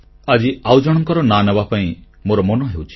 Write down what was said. ଆଜି ଆଉ ଜଣଙ୍କର ନାଁ ନେବା ପାଇଁ ମୋର ମନ ହେଉଛି